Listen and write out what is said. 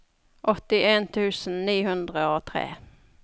åttien tusen ni hundre og tre